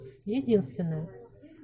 единственная